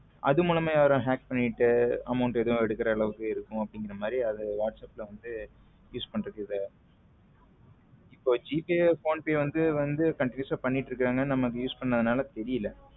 அது முலம் hack பண்ணிட்டு amount எதுவும் எடுக்கிற அளவுக்கு இருக்கும் அப்படிங்கற மாதிரி அது whatsapp ல வந்து use பண்றது இல்ல இப்போ ஜிபே போன் பே வந்து countinuous ஆ பண்ணிட்டு இருக்காங்க நம்ம use பண்ணதுனால தெரியல.